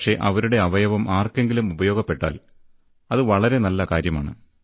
പക്ഷേ അവരുടെ അവയവം ആർക്കെങ്കിലും ഉപയോഗപ്പെട്ടാൽ അതു വളരെ നല്ല കാര്യമാണ്